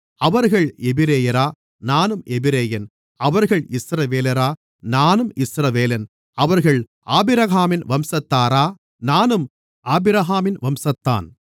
அவர்கள் எபிரெயரா நானும் எபிரெயன் அவர்கள் இஸ்ரவேலரா நானும் இஸ்ரவேலன் அவர்கள் ஆபிரகாமின் வம்சத்தாரா நானும் ஆபிரகாமின் வம்சத்தான்